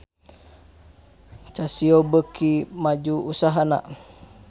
Casio beuki maju usahana